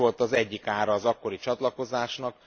Ez volt az egyik ára az akkori csatlakozásnak.